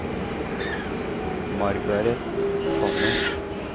Margareth Sannes